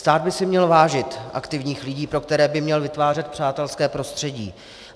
Stát by si měl vážit aktivních lidí, pro které by měl vytvářet přátelské prostředí.